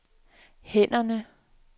hænderne